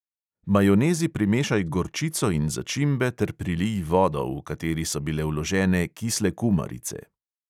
Majonezi primešaj gorčico in začimbe ter prilij vodo, v kateri so bile vložene kisle kumarice.